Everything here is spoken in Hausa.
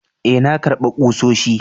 Ee, na karba kusoshi.